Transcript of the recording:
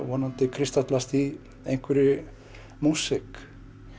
vonandi kristallast í einhverri músík